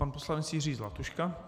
Pan poslanec Jiří Zlatuška.